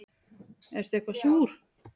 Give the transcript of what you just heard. Ertu eitthvað súr?